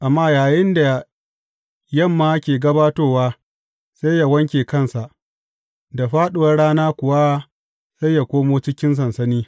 Amma yayinda yamma ke gabatowa sai yă wanke kansa, da fāɗuwar rana kuwa sai yă koma cikin sansani.